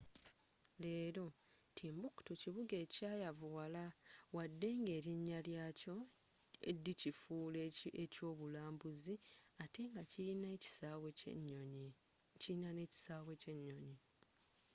leero timbuktu kibuga ekyayavuwala waddenga erinnya lye kyakola likifuula ekyobulambuzi ate kirina n'ekisaawe ky'enyonyi